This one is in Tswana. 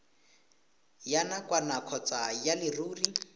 ya nakwana kgotsa ya leruri